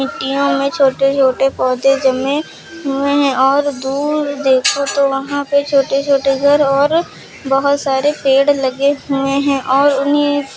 मिट्टियो में छोटे छोटे पौधे जमे हुए हैं और दूर देखो तो वहां पे छोटे छोटे घर और बहोत सारे पेड़ लगे हुए हैं और उन्हें --